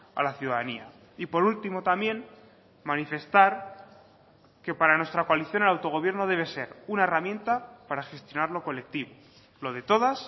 a la ciudadanía y por último también manifestar que para nuestra coalición el autogobierno debe ser una herramienta para gestionar lo colectivo lo de todas